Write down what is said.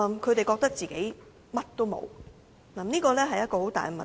他們覺得自己甚麼也沒有，這是一個很大的問題。